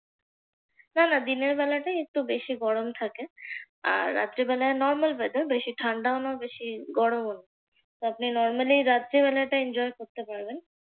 না না দিনের বেলাটাই একটু বেশি গরম থাকে। আর রাত্রিবেলা normal weather বেলা বেশি ঠান্ডাও না বেশি গরমও না। আপনি normally রাত্রিবেলাটা enjoy করতে পারবেন।